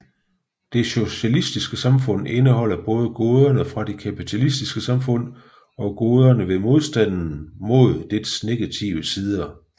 Det socialistiske samfund indeholder både goderne fra det kapitalistiske samfund og goderne ved modstanden mod dets negative sider